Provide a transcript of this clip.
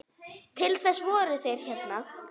Til þess voru þeir hérna.